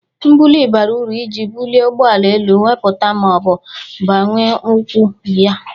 Mbụli bara uru ije bụlie ụgbọala elu nwepụta ma ọ bụ banwe ụkwụ ya.